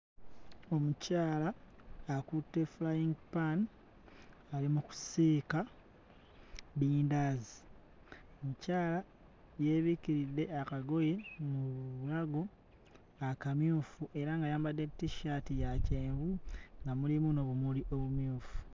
Omukyala akutte frying pan ali mu kusiika bindaazi, omukyala yeebikiridde akagoye mu bulago akamyufu era ng'ayambadde t-shirt ya kyenvu nga mulimu n'obumuli obumyufu.